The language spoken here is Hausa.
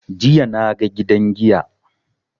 Jiya na ga gidan giya.